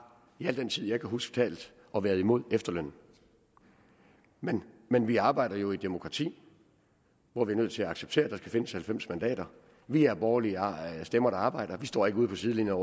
i al den tid jeg kan huske talt og været imod efterlønnen men men vi arbejder jo i et demokrati hvor vi er nødt til at acceptere at der skal findes halvfems mandater vi er borgerlige stemmer der arbejder vi står ikke ude på sidelinjen